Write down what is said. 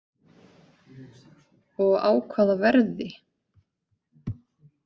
Og á hvaða verði?